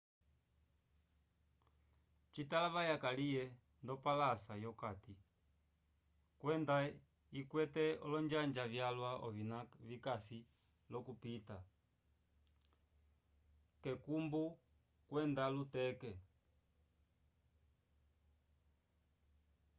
citalavaya kaliye ndopalasa yokati kwenda ikwete olonjanja vyalwa ovina vikasi l'okupita k'ekumbu kwenda luteke